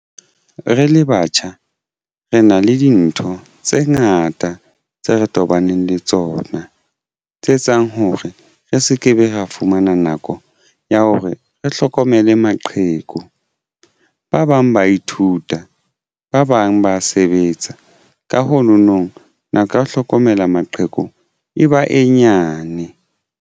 Re le batjha re na le dintho tse ngata tse re tobaneng le tsona tse etsang hore re se ke be ra fumana nako ya hore re hlokomele maqheku. Ba bang ba ithuta ba bang ba sebetsa ka ho no nong nako ya ho hlokomela maqheku e ba e nyane?